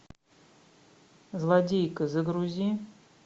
злодейка загрузи